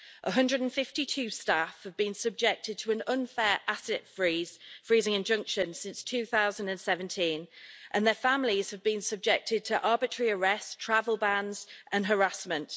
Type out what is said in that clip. One hundred and fifty two staff have been subjected to an unfair asset freezing injunction since 2017, and their families have been subjected to arbitrary arrest, travel bans and harassment.